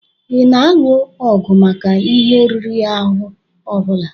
Ị na-alụ ọgụ maka ihe riri ahụ ọ bụla?